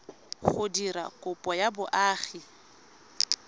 go dira kopo ya boagi